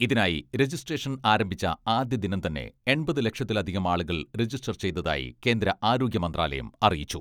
ഇതിനായി രജിസ്ട്രേഷൻ ആരംഭിച്ച ആദ്യ ദിനം തന്നെ എൺപത് ലക്ഷത്തിലധികം ആളുകൾ രജിസ്റ്റർ ചെയ്തതായി കേന്ദ്ര ആരോഗ്യ മന്ത്രാലയം അറിയിച്ചു.